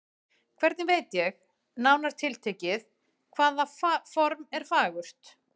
Hvernig veit ég, nánar tiltekið, hvaða form er fagurt?